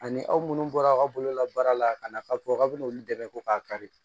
Ani aw munnu bɔra aw ka bololabaara la ka na ka fɔ k'a bɛna olu dɛmɛ ko k'a kari